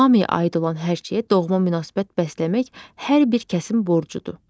Hamıya aid olan hər şeyə doğma münasibət bəsləmək hər bir kəsin borcudur.